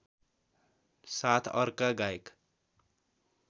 साथ अर्का गायक